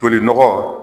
Tolinɔgɔ